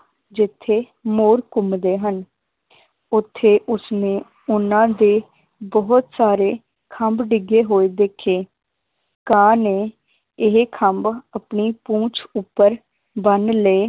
ਜਿਥੇ ਮੋਰ ਘੁੰਮਦੇ ਹਨ ਓਥੇ ਉਸਨੇ ਉਹਨਾਂ ਦੇ ਬਹੁਤ ਸਾਰੇ ਖੰਭ ਡਿੱਗੇ ਹੋਏ ਦੇਖੇ ਕਾਂ ਨੇ ਇਹ ਖੰਭ ਆਪਣੀ ਪੂੰਛ ਉੱਪਰ ਬੰਨ ਲਏ